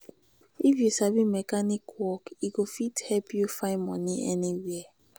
if you sabi mechanic work e go fit help you find money anywhere.